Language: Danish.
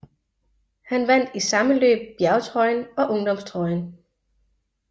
Han vandt i samme løb bjergtrøjen og ungdomstrøjen